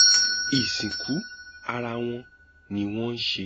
ìsìnkú ara wọn ni wọn ń ṣe